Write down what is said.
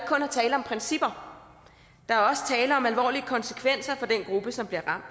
tale om principper der er også tale om alvorlige konsekvenser for den gruppe som bliver